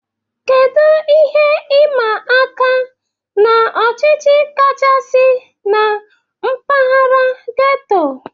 Kedu ihe ịma aka na ọchịchọ kachasị na mpaghara getto?